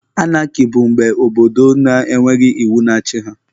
Anaki bụ mgbe obodo na-enweghị iwu na-achị ha